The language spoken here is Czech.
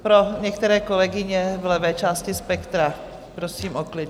Pro některé kolegyně v levé části spektra - prosím o klid.